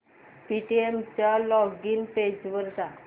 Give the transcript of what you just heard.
Paytm च्या login page वर जा